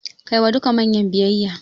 Kai wa duka manyan biyayya.